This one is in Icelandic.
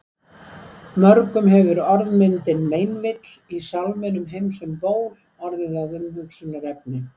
Mörgum hefur orðmyndin meinvill í sálminum Heims um ból orðið að umhugsunarefni.